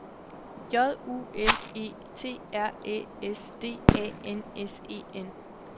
J U L E T R Æ S D A N S E N